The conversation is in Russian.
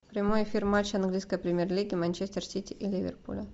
прямой эфир матча английской премьер лиги манчестер сити и ливерпуля